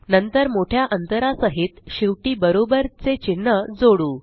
नंतर मोठ्या अंतरा सहित शेवटी बरोबर चे चिन्ह जोडू